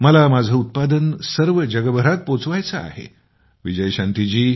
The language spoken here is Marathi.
मला माझं उत्पादन सर्व जगभरात पोहचलेलं हवं आहे